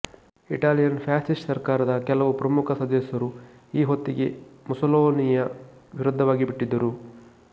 Italian fascist ಸರ್ಕಾರದ ಕೆಲವು ಪ್ರಮುಖ ಸದಸ್ಯರು ಈ ಹೊತ್ತಿಗೆ ಮುಸೊಲಿನಿಯ ವಿರುದ್ಧವಾಗಿಬಿಟ್ಟಿದ್ದರು